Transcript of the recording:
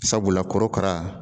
Sabula kɔrɔkara.